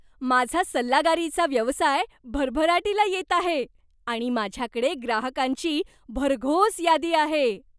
माझा सल्लागारीचा व्यवसाय भरभराटीला येत आहे आणि माझ्याकडे ग्राहकांची भरघोस यादी आहे.